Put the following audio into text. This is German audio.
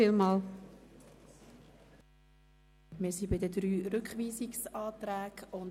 Wir sind bei den drei Rückweisungsanträgen.